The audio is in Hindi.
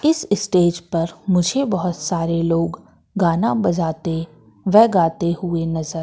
इस स्टेज पर मुझे बहोत सारे लोग गाना बजाते व गाते हुए नजर--